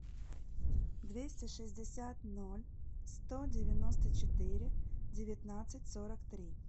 двести шестьдесят ноль сто девяносто четыре девятнадцать сорок три